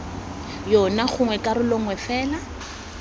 yona gongwe karolo nngwe fela